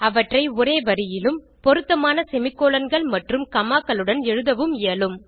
அவற்றை ஒரே வரியிலும் பொருத்தமான semicolonகள் மற்றும் commaகளுடன் எழுத இயலும்